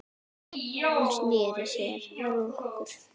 Hún sneri sér að okkur